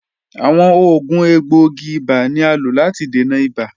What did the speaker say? Awọn oògùn egboogi-iba ni a lo lati dena ibà.